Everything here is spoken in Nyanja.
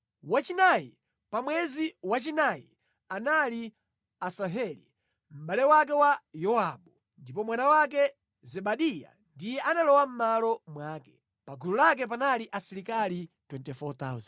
Wachinayi pa mwezi wachinayi anali Asaheli mʼbale wake wa Yowabu; ndipo mwana wake Zebadiya ndiye analowa mʼmalo mwake. Pa gulu lake panali asilikali 24,000.